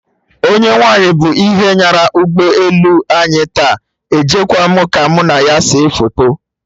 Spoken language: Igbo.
Onye nwaanyị bụ ihe nyara ụgbọ elu anyị taa! Ejekwa mụ ka mụ na ya see foto